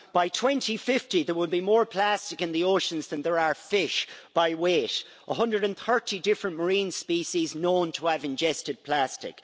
By 2050 there will be more plastic in the oceans than there are fish by weight 130 different marine species known to have ingested plastic.